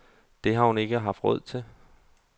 Det har hun ikke haft råd til.